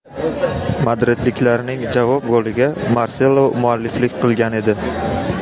Madridliklarning javob goliga Marselo mualliflik qilgan edi.